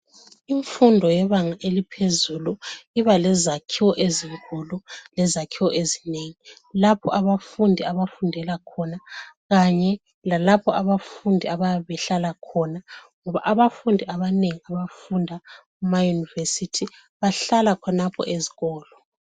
Imfundo yebanga eliphezulu ibalezakhiwo ezinkulu lezakhiwo ezinengi lapho abafundi abafundela khona Kanye lalapho abafundi abayabe behlala khona ngoba abafundi abanengi kunzima ukufunda ema university bahlala khonapho ezikolo